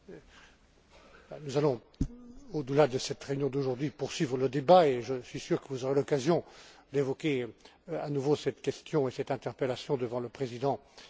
Nous allons, au delà de cette réunion d'aujourd'hui, poursuivre le débat et je suis sûr que vous aurez l'occasion d'évoquer à nouveau cette question et cette interpellation devant le président de la Commission.